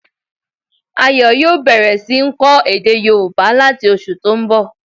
Ayo yòó bẹ̀rẹ̀ sí ń kọ́ èdè yóòbá láti oṣù tó n bọ̀